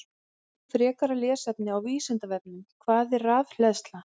Frekara lesefni á Vísindavefnum: Hvað er rafhleðsla?